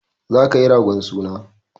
Za ka yi ragon suna!